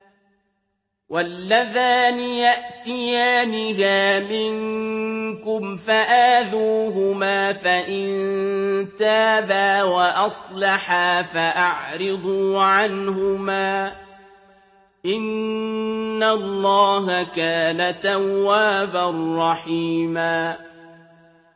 وَاللَّذَانِ يَأْتِيَانِهَا مِنكُمْ فَآذُوهُمَا ۖ فَإِن تَابَا وَأَصْلَحَا فَأَعْرِضُوا عَنْهُمَا ۗ إِنَّ اللَّهَ كَانَ تَوَّابًا رَّحِيمًا